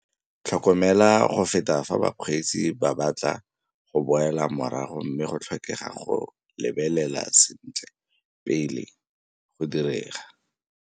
Tlhokmela go feta fa bakgweetsi ba batla go boela morago mme go tlhokega go lebelela sentle pele go direga.